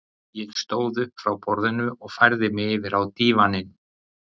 Ég stóð upp frá borðinu og færði mig yfir á dívaninn.